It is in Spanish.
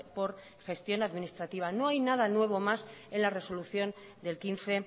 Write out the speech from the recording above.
por gestión administrativa no hay nada nuevo más en la resolución del quince